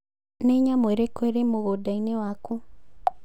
Nĩ nyamu ĩrĩkũ ĩrĩ mũgũnda-inĩ wakũ?